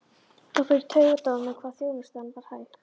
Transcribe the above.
Það fór í taugarnar á honum hvað þjónustan var hæg.